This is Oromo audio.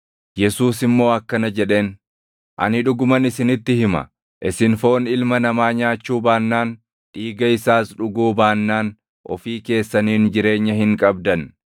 Yesuus immoo akkana jedheen; “Ani dhuguman isinitti hima; isin foon Ilma Namaa nyaachuu baannaan, dhiiga isaas dhuguu baannaan ofii keessaniin jireenya hin qabdan.